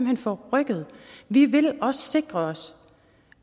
er forrykket vi vil sikre os